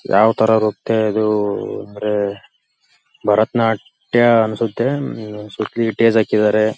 ಯಾವ ತರ ಇರುತ್ತೆ ಅಂದರೆ ಅದು ಅಂದರೆ ಭರತನಾಟ್ಯ ಅನ್ಸುತ್ತೆ ಹ್ಮ್ಮ್ ಸುತ್ತಲೂ ಟಿಸ್ ಹಾಕಿದಾರೆ.